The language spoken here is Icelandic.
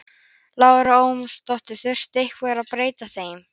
Lára Ómarsdóttir: Þurfti eitthvað að breyta þeim?